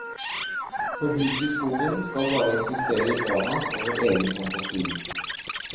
For huset i skogen skal bare eksistere i barnas og vår egen fantasi.